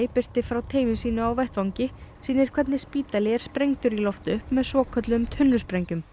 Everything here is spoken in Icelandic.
birti frá teymi sínu vettvangi sýnir hvernig spítali er sprengdur í loft upp með svokölluðum tunnusprengjum